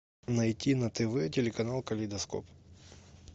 найти на тв телеканал калейдоскоп